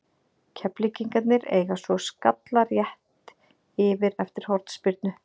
Keflvíkingarnir eiga svo skalla rétt yfir eftir hornspyrnu.